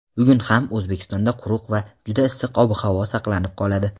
Bugun ham O‘zbekistonda quruq va juda issiq ob-havo saqlanib qoladi.